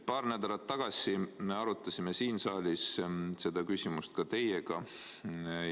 Paar nädalat tagasi me arutasime siin saalis seda küsimust ka teiega.